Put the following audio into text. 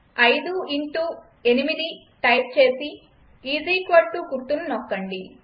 5ఇంటూ8 type చేసి గుర్తును నొక్కండి